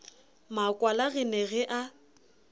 makwala re ne re a